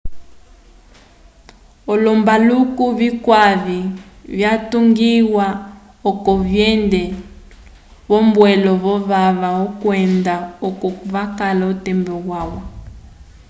olombaluku vyuyaki vyatungiwa oco vyende v'ombwelo yovava kwenda oko vakala otembo yalwa